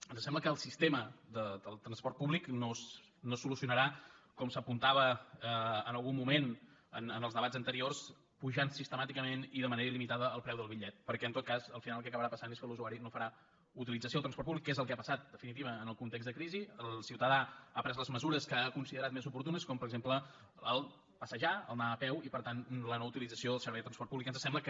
ens sembla que el sistema del transport públic no es solucionarà com s’apuntava en algun moment en els debats anteriors apujant sistemàticament i de manera il·limitada el preu del bitllet perquè en tot cas al final el que acabarà passant és que l’usuari no farà utilització del transport públic que és el que ha passat en definitiva en el context de crisi el ciutadà ha pres les mesures que ha considerat més oportunes com per exemple passejar anar a peu i per tant la no utilització del servei de transport públic que ens sembla que